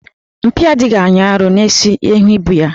Mpi adịghị anyị arọ n'isi ehi bụ ya.